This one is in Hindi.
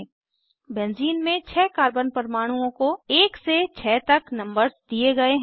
बेंजीन बेंज़ीन में छः कार्बन परमाणुओं को 1 से 6 तक नम्बर्स दिए गए हैं